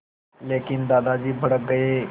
लेकिन दादाजी भड़क गए